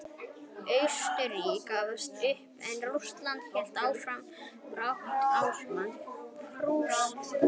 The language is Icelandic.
Austurríki gafst upp en Rússland hélt áfram baráttunni ásamt Prússum.